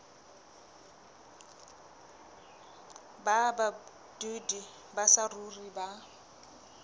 ba badudi ba saruri ba